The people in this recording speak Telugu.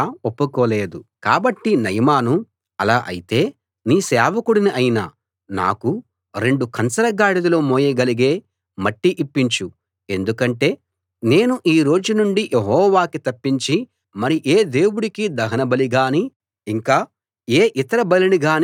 కాబట్టి నయమాను అలా అయితే నీ సేవకుడిని అయిన నాకు రెండు కంచర గాడిదలు మోయగలిగే మట్టి ఇప్పించు ఎందుకంటే నేను ఈ రోజు నుండి యెహోవాకి తప్పించి మరి ఏ దేవుడికీ దహనబలి గానీ ఇంకా ఏ ఇతర బలిని గానీ అర్పించను